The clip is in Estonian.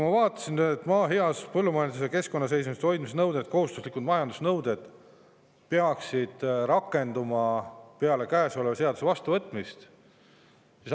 Ma vaatasin, et maa heas põllumajandus‑ ja keskkonnaseisundis hoidmise nõuded ning kohustuslikud majandamisnõuded peaksid rakenduma peale käesoleva seaduse vastuvõtmist.